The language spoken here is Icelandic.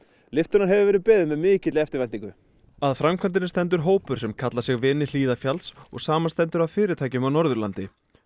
lyftunnar hefur verið beðið með mikilli eftirvæntingu að framkvæmdinni stendur hópur sem kallar sig vini Hlíðarfjalls og samanstendur af fyrirtækjum á Norðurlandi